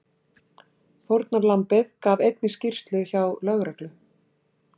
Fórnarlambið gaf einnig skýrslu hjá lögreglu